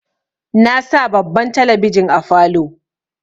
Na sa babban talabijin a falow